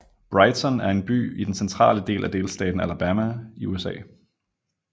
Brighton er en by i den centrale del af delstaten Alabama i USA